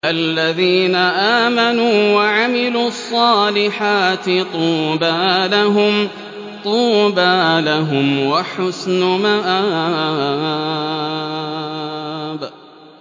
الَّذِينَ آمَنُوا وَعَمِلُوا الصَّالِحَاتِ طُوبَىٰ لَهُمْ وَحُسْنُ مَآبٍ